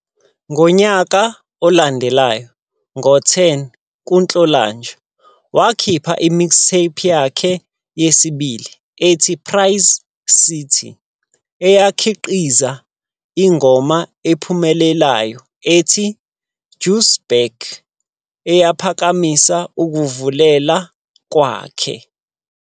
Ngonyaka olandelayo ngo-10 kuNhlolanja, wakhipha i-mixtape yakhe yesibili ethi "Price City" eyakhiqiza ingoma ephumelelayo ethi "Juice Back" eyaphakamisa ukuvelela kwakhe.